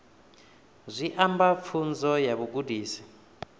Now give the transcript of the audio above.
zwi amba pfunzo ya vhugudisi